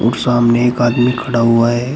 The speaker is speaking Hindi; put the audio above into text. सामने एक आदमी खड़ा हुआ है।